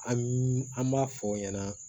An b'a fɔ o ɲɛna